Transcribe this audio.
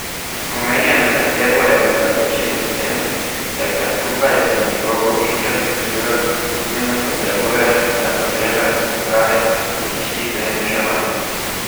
Omenjeno zahtevo je upravičilo s tem, da ga skupaj z njegovo infrastrukturo nujno potrebuje za potrebe uprave za zaščito in reševanje.